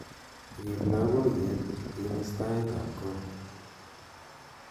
rip loboyet imis tait ab koot